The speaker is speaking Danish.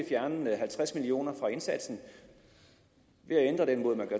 fjerne halvtreds million kroner fra indsatsen ved at ændre den måde